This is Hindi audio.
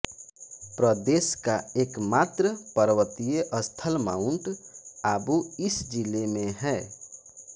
प्रदेश का एकमात्र पर्वतीय स्थल माउन्ट आबू इस जिले में हैं